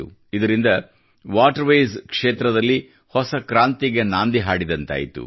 ಇದರಿಂದ waterways ಕ್ಷೇತ್ರದಲ್ಲಿ ಹೊಸ ಕ್ರಾಂತಿಗೆ ನಾಂದಿ ಹಾಡಿದಂತಾಯಿತು